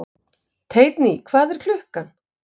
Teitný, hvað er klukkan?